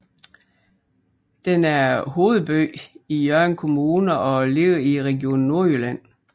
Den er hovedby i Hjørring Kommune og ligger i Region Nordjylland